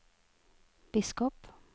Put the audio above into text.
biskop